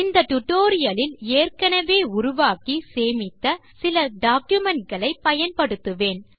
இந்த டியூட்டோரியல் இல் ஏற்கெனெவே உருவாக்கி சேமித்த சில டாக்குமென்ட் களை பயன்படுத்துவேன்